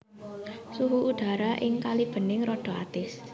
Suhu udhara ing Kalibening rada atis